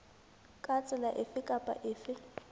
ka tsela efe kapa efe